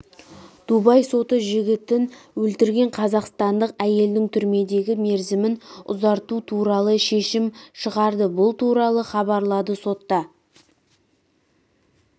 дубай соты жігітін өлтірген қазақстандық әйелдің түрмедегі мерзімін ұзарту туралы шешім шығарды бұл туралы хабарлады сотта